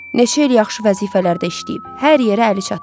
Neçə il yaxşı vəzifələrdə işləyib, hər yerə əli çatır.